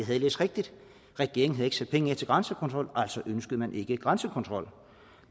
havde læst rigtigt regeringen havde ikke sat penge af til grænsekontrol altså ønskede man ikke grænsekontrol